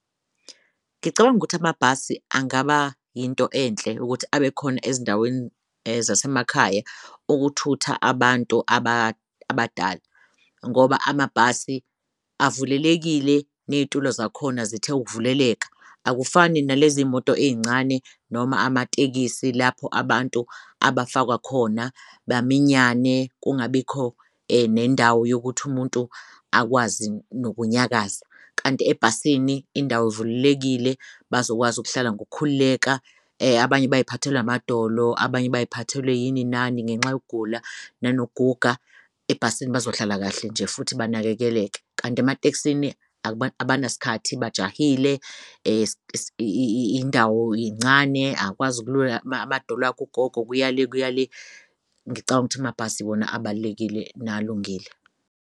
Ngicabanga ukuthi amabhasi angaba yinto enhle ukuthi abekhona ezindaweni zasemakhaya ukuthutha abantu abadala, ngoba amabhasi avulelekile neyitulo zakhona zithe ukuvuleleka. Akufani nalezi moto ey'ncane noma amatekisi lapho abantu abafakwa khona baminyane kungabikho nendawo yokuthi umuntu akwazi nokunyakaza, kanti ebhasini indawo evulelekile bazokwazi ukuhlala ngokukhululeka abanye baziphathelwe amadolo, abanye baziphathelwe yini nani ngenxa yokugula nanokuguga, ebhasini bazohlala kahle nje futhi banakekeleke. Kanti ematekisini abanasikhathi bajahile indawo incane akwazi ukulula amadolo akh'ugogo, kuya le kuya le. Ngicang'ukuthi amabhasi yiwona abalulekile, nalungile.